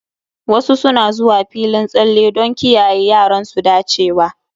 Wasu suna zuwa filin tsalle don kiyaye yaran su dacewa.